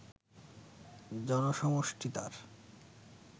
জনসমষ্টি তার